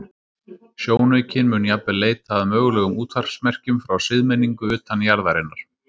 Sjónaukinn mun jafnvel leita að mögulegum útvarpsmerkjum frá siðmenningu utan jarðarinnar.